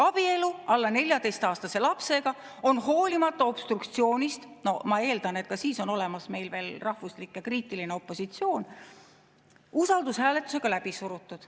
Abielu alla 14‑aastase lapsega on hoolimata obstruktsioonist – no ma eeldan, et ka siis on olemas meil veel rahvuslik ja kriitiline opositsioon – usaldushääletusega läbi surutud.